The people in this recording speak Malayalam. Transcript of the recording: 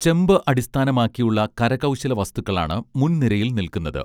ചെമ്പ് അടിസ്ഥാനമാക്കിയുള്ള കരകൗശലവസ്തുക്കളാണ് മുൻനിരയിൽ നില്ക്കുന്നത്